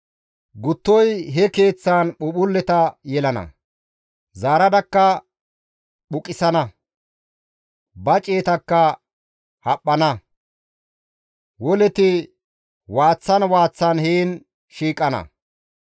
Guttoy he keeththan phuuphphulleta yeggana; zaaradakka phuqissana; ba ciyetakka haphphana; woleti waaththan waaththan heen shiiqana.